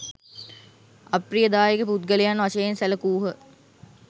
අප්‍රියදායක පුද්ගලයන් වශයෙන් සැළකූහ